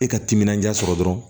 E ka timinanja sɔrɔ dɔrɔn